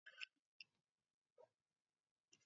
Musulmai sun yarda annabi Muhammad (SAW) ne annabin ƙarshe.